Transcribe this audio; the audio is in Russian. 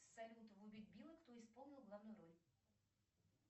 салют в убить билла кто исполнил главную роль